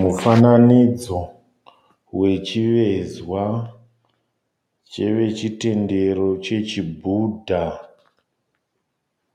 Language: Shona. Mufananidzo vechivezwa chevechitendero chechi bhudha,